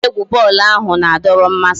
Egwuregwu bọọlụ ahụ na-adọrọ mmasị